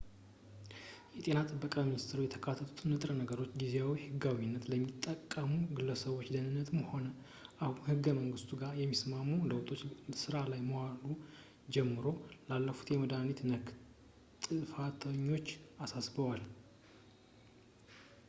የጤና ጥበቃ ሚኒስትሩ የተካተቱትን ንጥረ ነገሮች ጊዜያዊ ህጋዊነት ለሚጠቀሙ ግለሰቦች ደህንነትም ሆነ አሁን ከህገ-መንግስቱ ጋር የሚስማሙ ለውጦች ሥራ ላይ ከዋሉ ጀምሮ ለተላለፉት መድኃኒቶች-ነክ ጥፋተኞች አሳስበዋል